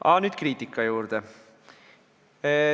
Aga nüüd kriitika juurde.